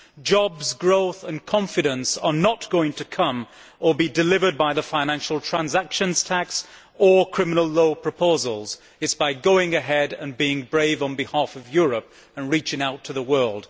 Jobs, growth and confidence are not going to be delivered by the financial transactions tax or criminal law proposals, but by going ahead and being brave on behalf of Europe and reaching out to the world.